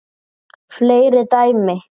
Fleiri dæmi